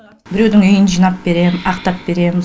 біреудің үйін жинап беремін ақтап беремін